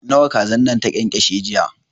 Nawa kazan nan ta ƙyanƙyashe jiya?